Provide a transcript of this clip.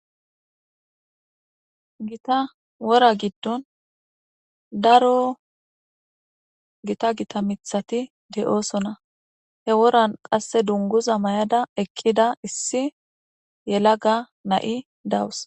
Gita wora giddon daro gita gita mithati de'oosona he woran qasse dunguza may'ada ekkida issi yelaga na'i dawus.